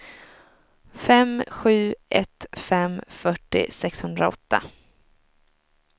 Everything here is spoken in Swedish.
fem sju ett fem fyrtio sexhundraåtta